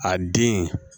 A den